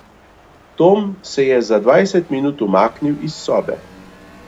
Tom se je za dvajset minut umaknil iz sobe.